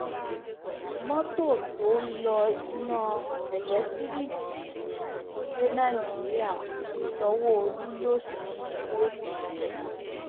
mọtò tó ń lo iná eléńtíríìkì ti dé nàìjíríà sanwóolu lọ sí i lẹkọọ